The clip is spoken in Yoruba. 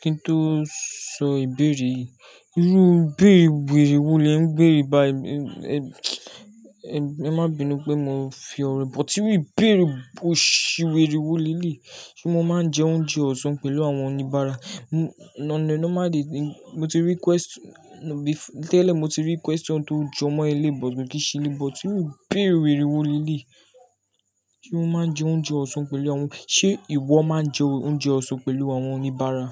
Kí n tó sọ ìbéèrè yìí, irú ìbéèrè wèrè wo lè ń bèrè báyìí? Ẹ má binu pé mò ń fi ọ̀ro, but irú ìbéèrè boṣiwèrè wo le lèyii. Se mo máa ń jẹ oúnjẹ ọ̀sán pẹ̀lú àwọn oníbàárà? Mo ti rí question, tẹ́lẹ̀ mo ti rí question tó jọ mọ́ eléyii, but kí se eleyii. But iru ìbéèrè wèrè wo leleyii Se mo máa ń jẹ oúnjẹ ọ̀sán pẹ̀lú àwọn-- ṣé ìwọ máa ń jẹ oúnjẹ ọ̀sán pẹ̀lú àwọn oníbàárà?